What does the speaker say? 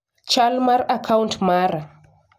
Chal mar a kaunt mara.